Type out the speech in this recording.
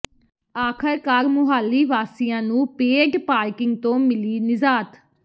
ਆਖ਼ਰਕਾਰ ਮੁਹਾਲੀ ਵਾਸੀਆਂ ਨੂੰ paid parking ਤੋਂ ਮਿਲੀ ਨਿਜ਼ਾਤ